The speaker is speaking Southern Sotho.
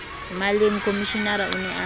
maleng komishenara o ne a